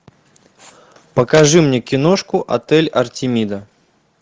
покажи мне киношку отель артемида